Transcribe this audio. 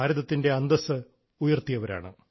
ഭാരതത്തിൻറെ അന്തസ്സ് ഉയർത്തിയവരാണ്